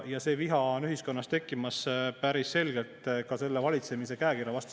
Ja see viha on ühiskonnas tekkimas päris selgelt ka selle valitsemise käekirja vastu.